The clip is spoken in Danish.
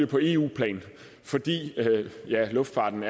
på eu plan fordi luftfarten